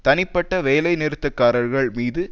தனிப்பட்ட வேலை நிறுத்தக்காரர்கள் மீது